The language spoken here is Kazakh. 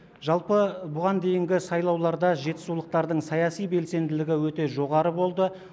жалпы бұған дейінгі сайлауларда жетісулықтардың саяси белсенділігі өте жоғары болды